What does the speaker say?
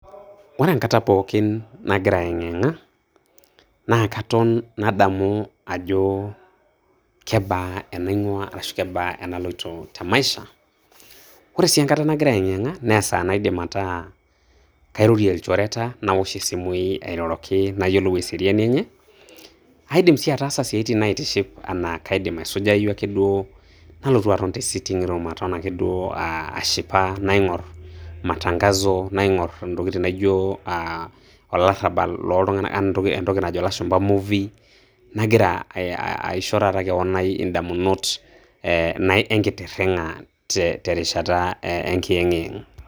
Ore enkata pooki nagira ayeng'iyeng'a, naa katon nadamu ajo kebaa enaing'uaa arashu kebaa enaloito te maisha. Ore sii enkata nagira ayeng'iyeng'a naa esaa naidim ataa kairorie ilchoreta, nawosh simui airoroki nayiolou eseriani enye, aidim sii ataasa siaitin naitiship anaa kaidim aisujayu ake duo nalotu aton te sitting room aton ake duo aah ashipa, naing'orr matangazo, naing'orr intokitin naijo aah olarrabal looltung'anak, entoki najo ilashumpa Movie, nagira aisho eeh taata kewon ai indamunot eeh enkitirring'a te terishata enkiyeng'iyeng'.